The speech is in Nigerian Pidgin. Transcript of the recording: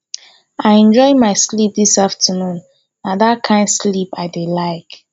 i enjoy my sleep dis afternoon na dat kin sleep i dey like